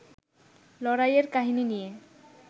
লড়াইয়ের কাহিনী নিয়ে